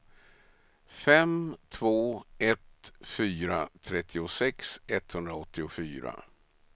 fem två ett fyra trettiosex etthundraåttiofyra